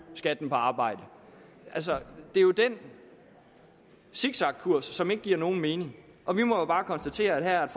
skatten på arbejde altså det er jo den zigzagkurs som ikke giver nogen mening og vi må jo bare konstatere at her er